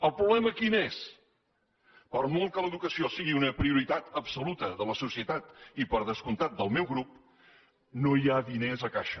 el problema quin és per molt que l’educació sigui una prioritat absoluta de la societat i per descomptat del meu grup no hi ha diners a caixa